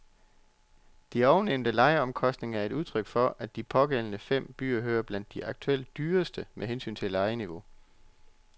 De ovennævnte lejeomkostninger er udtryk for, at de pågældende fem byer hører til blandt de aktuelt dyreste med hensyn til lejeniveau.